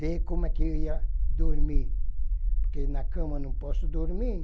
ver como é que eu ia dormir, porque na cama não posso dormir.